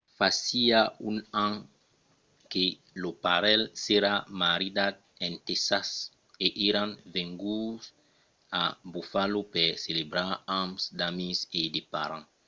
fasiá un an que lo parelh s'èra maridat en tèxas e èran venguts a buffalo per celebrar amb d'amics e de parents